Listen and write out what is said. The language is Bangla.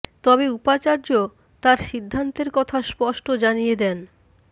তবে উপাচার্য তাঁর সিদ্ধান্তের কথা স্পষ্ট জানিয়ে দেন